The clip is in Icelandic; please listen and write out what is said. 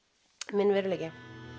minn veruleiki